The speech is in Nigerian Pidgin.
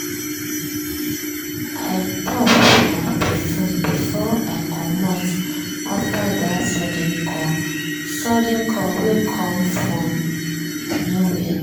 i top my perfume before i comot after that sudden call sudden call wey come from nowhere.